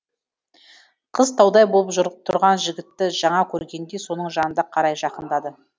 қыз таудай болып тұрған жігітті жаңа көргендей соның жанына қарай жақындады